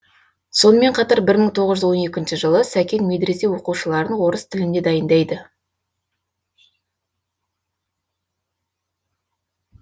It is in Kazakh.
сонымен қатар бір мың тоғыз жүз он екінші жылы сәкен медресе оқушыларын орыс тіліне дайындайды